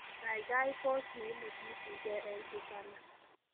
gaigai pos neimusmusgige en suzzana